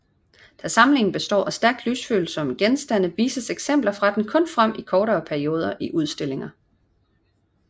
Da samlingen består af stærkt lysfølsomme genstande vises eksempler fra den kun frem i kortere perioder i udstillinger